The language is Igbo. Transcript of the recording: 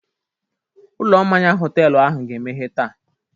Ụlọ mmanya họtelu ahụ ga-emeghe taa.